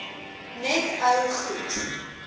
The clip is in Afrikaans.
net ou goed